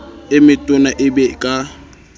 e metona e be ka